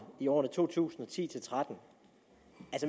i årene to tusind og ti til tretten